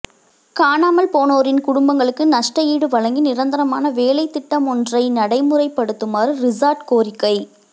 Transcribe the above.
காணாமல் போனோரின் குடும்பங்களுக்கு நஷ்டஈடு வழங்கி நிரந்தரமான வேலைத்திட்டமொன்றை நடைமுறைப்படுத்துமாறு ரிஷாட் கோரிக்கை